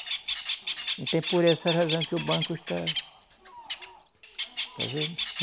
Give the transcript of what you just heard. Então, por essa razão que o banco está. Está vendo?